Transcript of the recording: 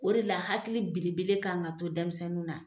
O de la hakili belebele kan ka to dɛnmisɛnnin na